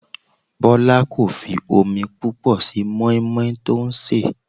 Bọlá kò fi omi púpọ̀ sí moi moi tí ó ń sè.